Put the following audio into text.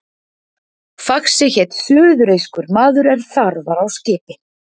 Faxi hét suðureyskur maður er þar var á skipi.